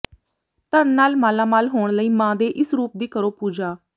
ਧਨ ਨਾਲ ਮਾਲਾਮਾਲ ਹੋਣ ਲਈ ਮਾਂ ਦੇ ਇਸ ਰੂਪ ਦੀ ਕਰੋ ਪੂਜਾ